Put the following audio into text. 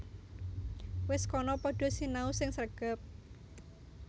Wis kana padha sinau sing sregep